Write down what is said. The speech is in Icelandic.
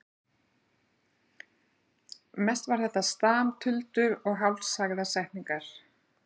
Mest var þetta stam, tuldur og hálfsagðar setningar.